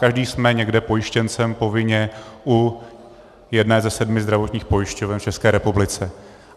Každý jsme někde pojištěncem povinně u jedné ze sedmi zdravotních pojišťoven v České republice.